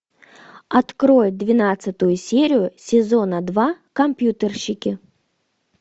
открой двенадцатую серию сезона два компьютерщики